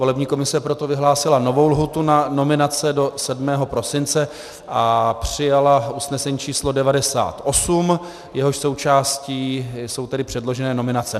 Volební komise proto vyhlásila novou lhůtu na nominace do 7. prosince a přijala usnesení číslo 98, jehož součástí jsou tedy předložené nominace.